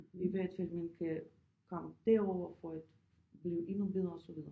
I hvert fald man kan komme derover for at blive endnu bedre og så videre